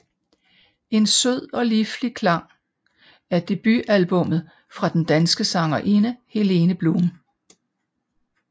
En sød og liflig klang er debutalbummet fra den danske sangerinde Helene Blum